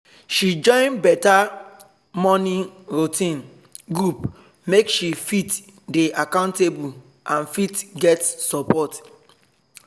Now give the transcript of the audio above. she join better morning routine group make she fit dey accountable and fit get support